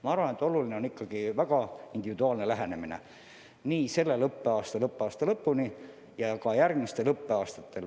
Ma arvan, et vajalik on ikkagi väga individuaalne lähenemine nii sellel õppeaastal õppeaasta lõpuni ja ka järgmistel õppeaastatel.